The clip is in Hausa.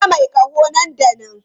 Kira mai ƙaho nan da nan!